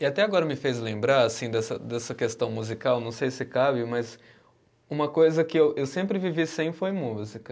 E até agora me fez lembrar assim dessa, dessa questão musical, não sei se cabe, mas uma coisa que eu, eu sempre vivi sem foi música.